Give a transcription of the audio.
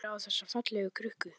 Horfir á þessa fallegu krukku.